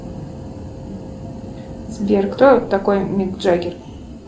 сбер кто такой мик джаггер